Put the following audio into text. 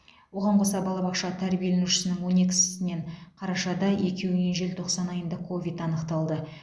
оған қоса балабақша тәрбиеленушісінің он екісінен қарашада екеуінен желтоқсан айында ковид анықталды